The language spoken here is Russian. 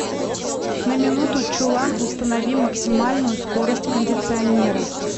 на минуту чулан установи максимальную скорость кондиционера